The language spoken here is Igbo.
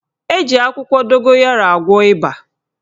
Eji akwụkwọ dogoyaro agwọ ịba.